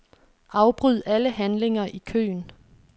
Afbryd alle handlinger i køen.